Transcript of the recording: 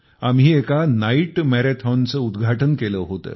आम्ही एका नाईट मॅरॅथॉनचे उद्घाटन केले होते